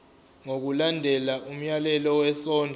ngokulandela umyalelo wesondlo